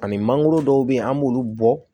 Ani mangoro dɔw be yen an b'olu bɔ